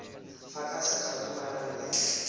fa tlase ga tumalano ya